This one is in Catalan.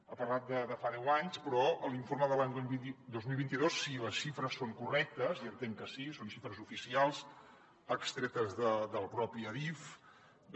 ha parlat de fa deu anys però a l’informe de l’any dos mil vint dos si les xifres són correctes i entenc que sí són xifres oficials extretes de la pròpia adif